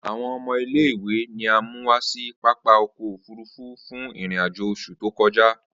Awọn ọmọ ile-iwe ni a mu wa si papa ọkọ ofurufu fun irin-ajo oṣu to kọja.